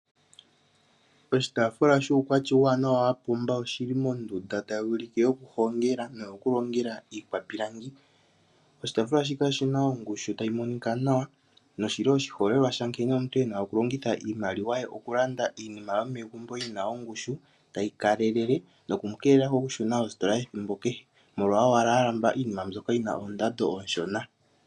Oshitaafula shuukwatya uuwanawa wa pumba, oshi li mondunda tayi ulike yokuhongela noyokulongela iikwapilangi. Oshitaafula shika oshi na ongushu tayi monika nawa, noshi li oshiholelwa shankene omuntu e na okulongitha iimaliwa ye okulanda iinima yomegumbo yi na ongushu, tayi kalelele noku mu keelela okushuna koostola ethimbo kehe molwa owala a lamba iinima mbyoka yi na oondando oonshona.